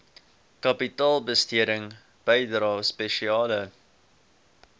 kapitaalbesteding bydrae spesiale